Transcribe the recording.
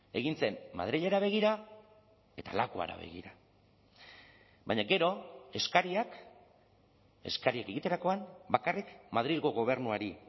egin zen madrilera begira eta lakuara begira baina gero eskariak eskariak egiterakoan bakarrik madrilgo gobernuari